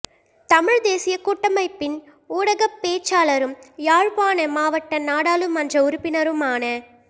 தமிழ்த் தேசியக் கூட்டமைப்பின் ஊடகப் பேச்சாளரும் யாழ்ப்பாண மாவட்ட நாடாளுமன்ற உறுப்பினருமான